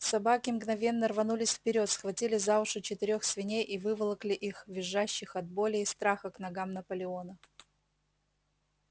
собаки мгновенно рванулись вперёд схватили за уши четырёх свиней и выволокли их визжащих от боли и страха к ногам наполеона